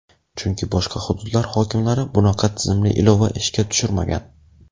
Chunki boshqa hududlar hokimlari bunaqa tizimli ilova ishga tushirmagan.